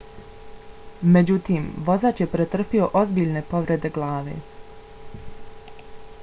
međutim vozač je pretrpio ozbiljne povrede glave